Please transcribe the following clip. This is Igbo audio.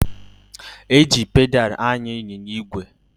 E ji pedalụ anya ịnyịnya ígwè